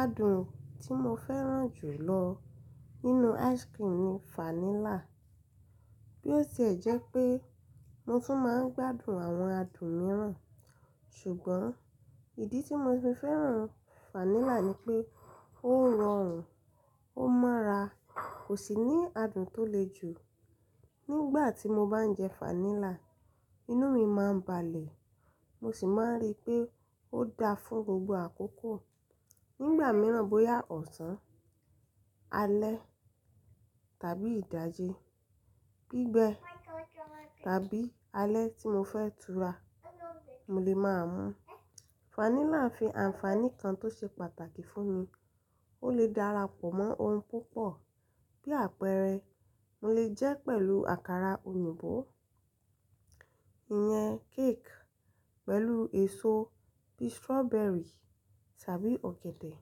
Adùn tí mo fẹ́ràn jù lọ nínú ice cream ni vanilla. Bí ó ṣe jẹ́ pé mo tún máa ń gbádùn àwọn adùn mìíràn, ṣùgbọ́n ìdí tí mo fi fẹ́ràn vanilla ni pé ó rọrùn, ó mọ́ra, kò sì ní adùn tó le jù. Nígbà tí mo bá ń jẹ vanilla, inú mi máa ń balẹ̀, mo sì máa ń rí pé ó da fún gbogbo àkókò. Nígbà mìíràn bóyá ọ̀sán, alẹ́ tàbí ìdájí, gbígbẹ́ tàbí alẹ́ tí mo fẹ́ tura, mo lè máa mu. Vanilla ń fi àǹfààní kan tó ṣe pàtàkì fún mi. Ó lè dára pọ̀ mọ́ ohun púpọ̀, bí àpẹẹrẹ mo lè jẹ́ pẹ̀lú àkàrà òyìnbó, ìyẹn cake pẹ̀lú èso bí strawberry tàbí ọ̀gẹ̀dẹ̀,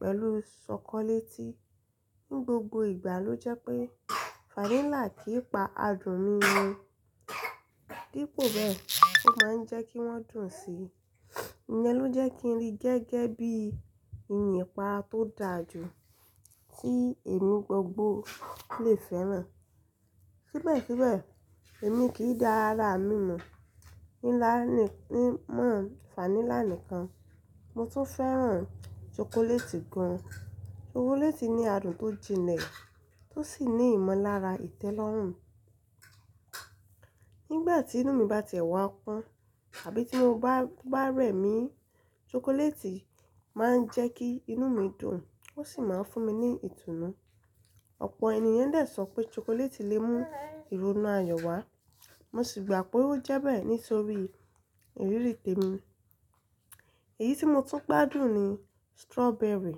pẹ̀lú ṣokoléètì. Ní gbogbo ìgbà ló jẹ́ pé vanilla kìí pa adùn mi nù. Dípò bẹ́ẹ̀, ó máa ń jẹ́ kí wọ́n dùn sí i. Ìyẹn ló jẹ́ kí n rí gẹ́gẹ́ bí i ìyẹn pa tó dáa jù tí èmi gbogbo lè fẹ́ràn. Síbẹ̀síbẹ̀ èmi kì í dára ámínù ní lá nì-- ní mọ́ vanilla nìkan, mo tún fẹ́ràn ṣokoléètì gan. Ṣokoléètì ní adùn tó jinlẹ̀ tó sì ní ìmọ̀lára ìtẹ́lọ́rùn. Nígbà tí inú mi bá tìẹ wà pọ́n àbí tí mo bá, bá rẹ̀ mí, ṣokoléètì máa ń jẹ́ kí inú mi dùn, ó sì máa ń fún mi ní ìtùnú. Ọ̀pọ̀ ènìyàn lè sọ pé ṣokoléètì lè mú ìrònú ayọ̀ wá, mo sì gbà pé ó jẹ́ bẹ́ẹ̀ nítorí ìrírí tèmi. Èyí tí mo tún gbádùn ni strawberry.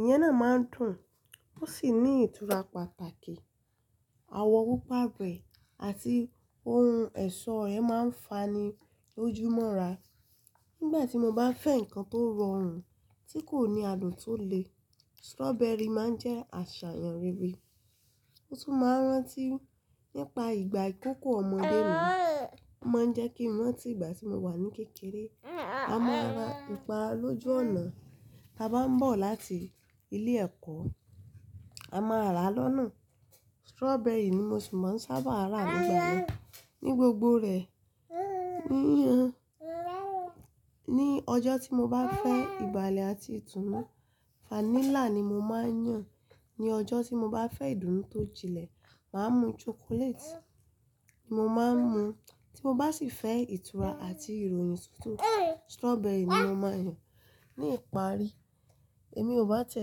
Ìyẹn náà máa ń dùn, ó sì ní ìtura pàtàkì. Àwọ̀ púpa rẹ̀ àti ohun ẹ̀ṣọ́ rẹ̀ máa ń fani lójú mọ́ra. Nígbà tí mo bá fẹ́ nǹkan tó rọrùn tí kò ní adùn tó le, strawberry máa ń jẹ́ àṣàyàn rere. Ó tún máa ń rántí nípa ìgbà ìkókó ọmọdé mi. Ó máa ń jẹ́ kí n rántí ìgbà tí mo wà ní kékeré. A máa ra ǹpára lójú ọ̀nà ta bá ń bọ̀ láti ilé ẹ̀kọ́. A máa rà á lọ́nà. Strawberry ni mo sì máa ń sábà rà nígbà náà. Ní gbogbo rẹ̀, níi, ní ọjọ́ tí mo bá fẹ́ ìbàlẹ̀ àti ìtùnú, vanilla ni mo máa ń yàn. Ní ọjọ́ tí mo bá fẹ́ ìdùnnú tó jinlẹ̀, màá mu ṣokoléètì mo máa ń mu. Tí mo bá sì fẹ́ ìtura àti ìròyìn tuntun, strawberry ni mo máa yàn. Ní ìparí, èmi ò bá tìẹ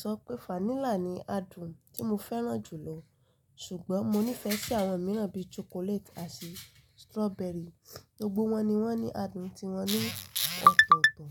sọ pé vanilla ni adùn tí mo fẹ́ràn jù lọ, ṣùgbọ́n mo nífẹ̀ẹ́ sí àwọn mìíràn bíi ṣokoléètì àti strawberry. Gbogbo wọn ni wọ́n ní adùn tí wọn ní ọ̀tọ̀ọ̀tọ̀.